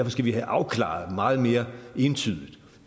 skal vi have afklaret meget mere entydigt